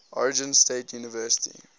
oregon state university